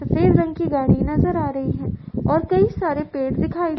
सफ़ेद रंग की गाड़ी नजर आ रही है और कई सारे पेड़ दिखाई --